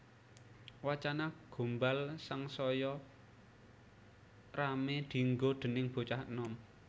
Wacana gombal sangsaya ramé dienggo déning bocah enom